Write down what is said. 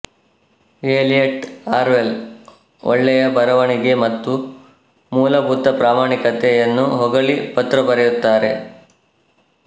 Elliott Orwell ಒಳ್ಳೆಯ ಬರವಣಿಗೆ ಮತ್ತು ಮೂಲಭೂತ ಪ್ರಾಮಾಣಿಕತೆ ಯನ್ನು ಹೊಗಳಿ ಪತ್ರಬರೆಯುತ್ತಾರೆ